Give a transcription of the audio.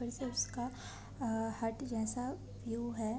फिर से उसका अ-अ हट जैसा व्यू है।